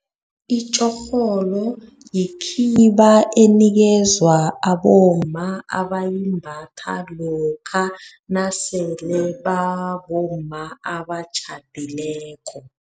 Itjorholo yikhiba enikezwa abomma, abayimbatha lokha nasele babomma abatjhadileko.